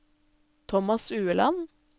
Thomas Ueland